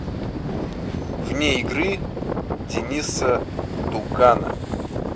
вне игры дениса дугана